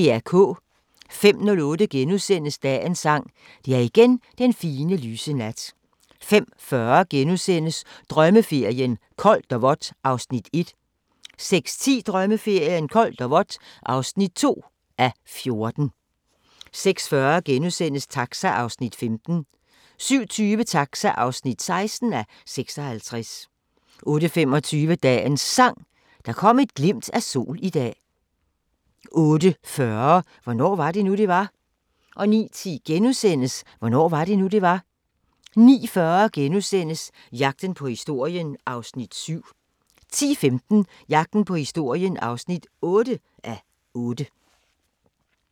05:08: Dagens Sang: Det er igen den fine, lyse nat * 05:40: Drømmeferien: Koldt og vådt (1:14)* 06:10: Drømmeferien: Koldt og vådt (2:14) 06:40: Taxa (15:56)* 07:20: Taxa (16:56) 08:25: Dagens Sang: Der kom et glimt af sol i dag 08:40: Hvornår var det nu, det var? 09:10: Hvornår var det nu, det var? * 09:40: Jagten på historien (7:8)* 10:15: Jagten på historien (8:8)